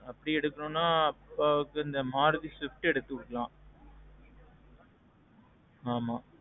அப்படி எடுக்கணும்னா, அப்பாவுக்கு இந்த மாருதி Swift எடுத்து குடுக்கலாம். ஆமாம்.